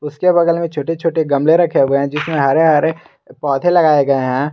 उसके बगल में छोटे छोटे गमले रखे हुए है जिसमें हरे हरे पौधे लगाए गए है।